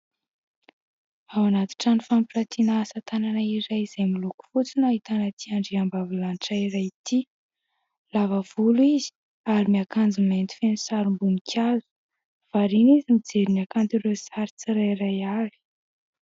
Ao anaty trano fampiratiana asatanana iray izay miloko fotsy no ahitana ity andriambavilanitra iray ity, lava volo izy ary miakanjo mainty feno sarim-boninkazo ; variana izy mijery ny hakanton'ireo sary tsirairay avy.